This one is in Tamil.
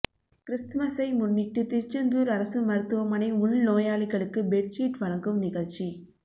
கிறிஸ்துமஸ்ஸை முன்னிட்டு திருச்செந்தூர் அரசு மருத்துவமனை உள்நோயாளிகளுக்கு பெட்சீட் வழங்கும் நிகழ்ச்சி